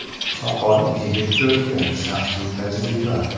Soqol yigit ko‘rki shaxsiy tajriba.